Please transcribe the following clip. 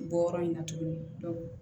Bɔ yɔrɔ in na tuguni